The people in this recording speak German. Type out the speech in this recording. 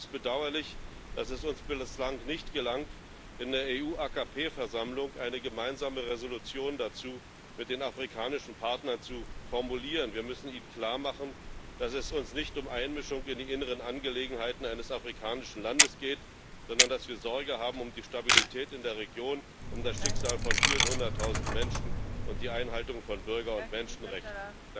Es ist allerdings bedauerlich, dass es uns bislang nicht gelang, in der Versammlung AKP EU eine gemeinsame Entschließung dazu mit den afrikanischen Partnern zu formulieren. Wir müssen ihnen klarmachen, dass es uns nicht um Einmischung in die inneren Angelegenheiten eines afrikanischen Landes geht, sondern dass wir Sorge haben um die Stabilität in der Region, um das Schicksal von vielen hunderttausend Menschen und die Einhaltung von Bürger und Menschenrechten.